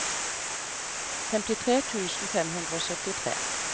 femtitre tusen fem hundre og syttitre